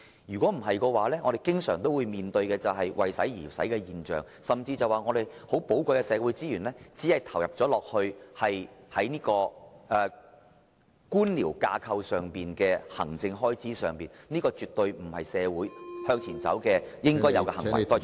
否則，政府將會經常出現"為使而使"的情況，甚至令到我們寶貴的社會資源浪費在官僚架構的行政開支上，而這絕對不是社會......向前走應有的行為......